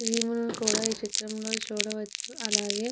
Cream లు కూడా ఈ చిత్రం లో చూడవచ్చు. అలాగే --